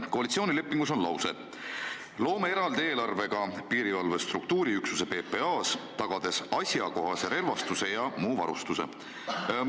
Koalitsioonilepingus on lause: "Loome eraldi eelarvega piirivalve struktuuriüksuse PPA-s, tagades asjakohase relvastuse ja muu varustuse.